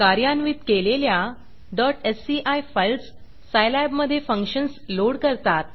कार्यान्वित केलेल्या sci files सायलॅबमधे फंक्शन्स लोड करतात